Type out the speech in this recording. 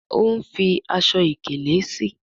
o ń fí Aṣọ ìkèlé sí.